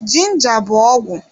Ginja bụ ọgwụ